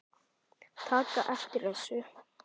taka eftir þessu